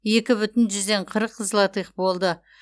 екі бүтін жүзден қырық злотых болды